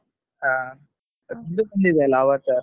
ಹಾ ಬಂದಿದೆ ಅಲ್ಲ Avatar .